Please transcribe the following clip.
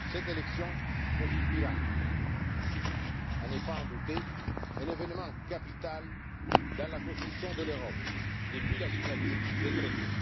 Ces élections constituent, à n'en pas douter, un événement capital dans la construction de l'Europe depuis la signature des traités.